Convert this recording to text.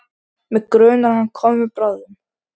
Mig grunar að hann komi bráðum.